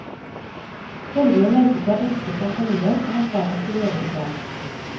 Følgelig merket jeg ønsket fra familien om at barna skulle gjøre det bra.